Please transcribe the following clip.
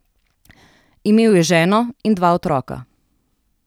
Imel je ženo in dva otroka.